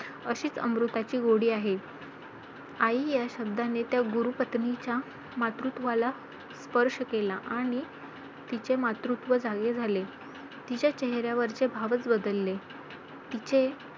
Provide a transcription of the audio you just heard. अशीच अमृताची गोडी आहे. आई या शब्दाने त्या गुरू पत्नीच्या मातृत्वला स्पर्श केला आणि तिचे मातृत्व जागे झाले. तिच्या चेहऱ्यावरचे भाव च बदलले. तिचे